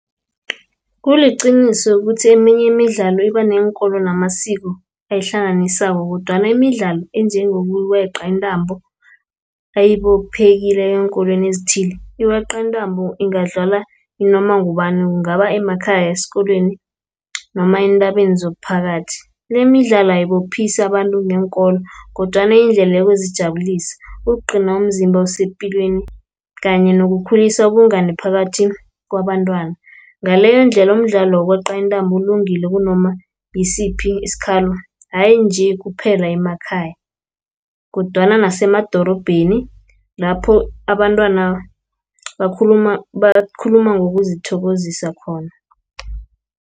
Kuliqiniso ukuthi eminye imidlalo ibaneenkolo namasiko, ayihlanganisako, kodwana imidlalo enjengokuweqa intambo ayibophekile eenkolweni ezithile. Ikweqa intambo ingadlala nanoma ngubani, kungaba emakhaya, esikolweni noma entabeni zomphakathi. Le, imidlalo ayibophise abantu ngeenkolo, kodwana yindlela yokuzijabulisa, ukugcina umzimba usepilweni kanye nokukhulisa ubungani phakathi kwabantwana. Ngaleyo ndlela umdlalo wokweqa intambo ulungile kunoma ngisiphi isikhalo, hayi nje kuphela emakhaya, kodwana nasemadorobheni, lapho abantwana bakhuluma ngokuzithokozisa khona.